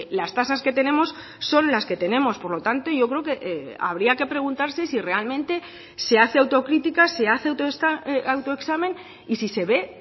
las tasas que tenemos son las que tenemos por lo tanto yo creo que habría que preguntarse si realmente se hace autocrítica se hace autoexamen y si se ve